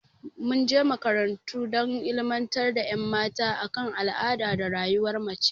Mun je makarantu dan illimantar da ƴan mata a kan al'ada da rayuwar mace